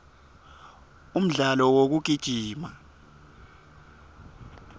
umdlalo wekugijima